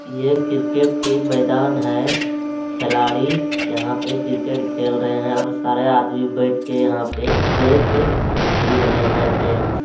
ये क्रिकेट के मैदान है खेलाड़ी यहाँ पे क्रिकेट खेल रहे है और सारे आदमी बैठ के यहाँ पे देख भी रहे है मैच।